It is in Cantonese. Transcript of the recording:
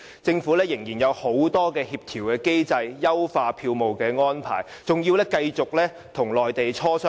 政府仍然須就很多協調機制，包括優化票務安排等與內地磋商。